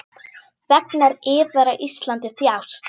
Þegnar yðar á Íslandi þjást.